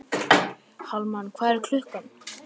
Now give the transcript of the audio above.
Hallmann, hvað er klukkan?